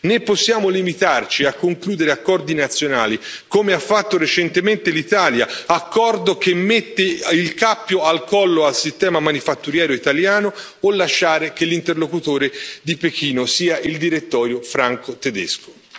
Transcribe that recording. Né possiamo limitarci a concludere accordi nazionali, come ha fatto recentemente l'Italia, con un accordo che mette il cappio al collo al sistema manifatturiero italiano, o lasciare che l'interlocutore di Pechino sia il direttorio franco tedesco.